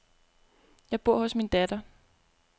Jeg bor hos min datter.